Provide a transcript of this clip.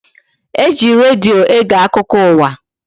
E ji redio ege akụkọ ụwa